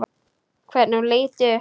Hvernig hún leit upp.